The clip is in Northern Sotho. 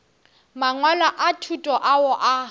mangwalo a thuto ao a